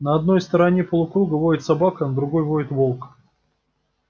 на одной стороне полукруга воет собака на другой воет волк